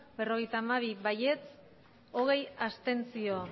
berrogeita hamabi abstentzioak